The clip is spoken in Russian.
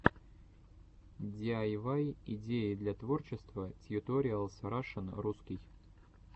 диайвай идеи для творчества тьюториалс рашн русский